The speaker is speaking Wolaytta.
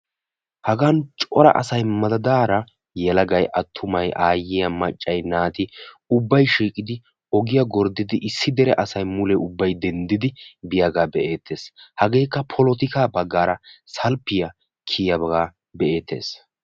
Hagan coraa asay madaadara ubba asay ogiya gorddiddi ubbay polotikka bagara salppiya kiyaagetta be'eetees.